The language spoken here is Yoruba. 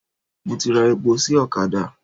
Mo ti ra epo sí ọ̀kadà.